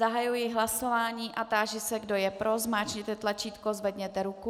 Zahajuji hlasování a táži se, kdo je pro, zmáčkněte tlačítko, zvedněte ruku.